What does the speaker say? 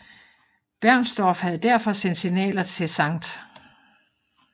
Bernstorff havde derfor sendt signaler til St